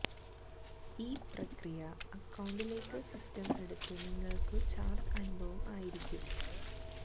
ഈ പ്രക്രിയ അക്കൌണ്ടിലേക്ക് സിസ്റ്റം എടുത്തു നിങ്ങൾക്കു ചാർജ്ജ് അനുഭവം ആയിരിക്കും